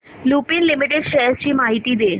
Lupin limited shares ची माहिती दे